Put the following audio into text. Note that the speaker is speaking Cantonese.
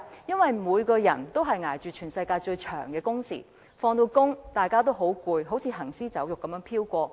因為每個人都在捱着全世界最長的工時，下班後人人都很疲倦，好像行屍走肉般飄過。